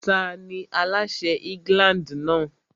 Tani aláṣẹ England náà?